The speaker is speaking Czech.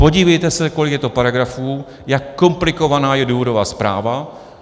Podívejte se, kolik je to paragrafů, jak komplikovaná je důvodová zpráva.